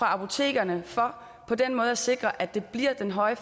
apotekerne for på den måde at sikre at det bliver den høje